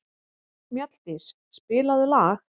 Mjalldís, spilaðu lag.